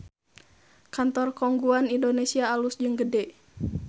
Kantor Khong Guan Indonesia alus jeung gede